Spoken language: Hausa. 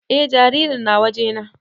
E jaririn na waje na